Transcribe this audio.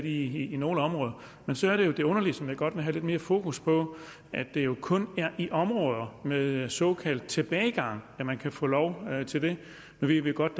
i nogle områder men så er der jo det underlige som jeg godt vil have lidt mere fokus på at det kun er i områder med såkaldt tilbagegang at man kan få lov til det nu ved vi godt